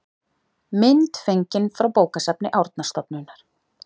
mynd fengin frá bókasafni árnastofnunar